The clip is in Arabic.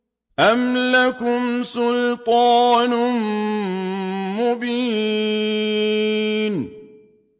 أَمْ لَكُمْ سُلْطَانٌ مُّبِينٌ